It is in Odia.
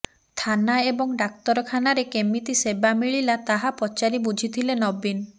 ଥାନା ଏବଂ ଡାକ୍ତରଖାନାରେ କେମିତି ସେବା ମିଳିଲା ତାହା ପଚାରି ବୁଝିଥିଲେ ନବୀନ